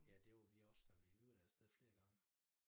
Ja det var vi også da vi var da afsted flere gange